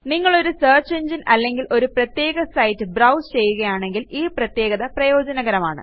നിങ്ങളൊരു സെർച്ച് എങ്ങിനെ അല്ലെങ്കിൽ ഒരു പ്രത്യേക സൈറ്റ് ബ്രൌസ് ചെയ്യുകയാണെങ്കിൽ ഈ പ്രത്യേകത പ്രയോജനകരമാണ്